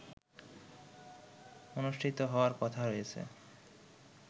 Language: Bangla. অনুষ্ঠিত হওয়ার কথা রযেছে